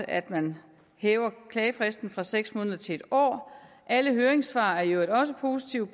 at man hæver klagefristen fra seks måneder til en år alle høringssvar er i øvrigt også positive